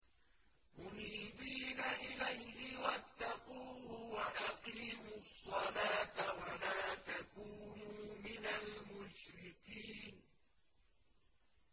۞ مُنِيبِينَ إِلَيْهِ وَاتَّقُوهُ وَأَقِيمُوا الصَّلَاةَ وَلَا تَكُونُوا مِنَ الْمُشْرِكِينَ